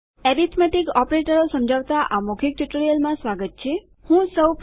મૂળભૂત અંકગણિત પ્રચાલકો એટલેકે એરીથમેટીક્સ ઓપરેટરો સમજાવતા આ મૌખિક ટ્યુટોરીઅલમાં તમારું સ્વાગત છે